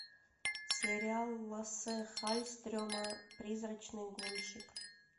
сериал лассе халльстрема призрачный гонщик